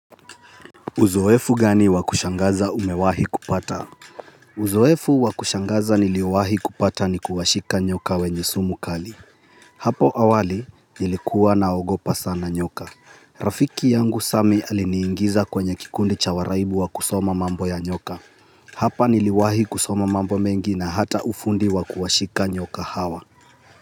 Uzoefu gani wa kushangaza umewahi kupata? Uzoefu wa kushangaza niliwahi kupata ni kuwashika nyoka wenye sumu kali. Hapo awali nilikuwa naogopa sana nyoka. Rafiki yangu Sami aliniingiza kwenye kikundi cha waraibu wa kusoma mambo ya nyoka. Hapa niliwahi kusoma mambo mengi na hata ufundi wa kuwashika nyoka hawa.